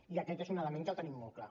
i aquest és un element que el tenim molt clar